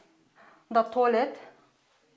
мында туалет